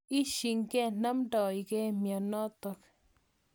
Isie ke namndoikei mianotok.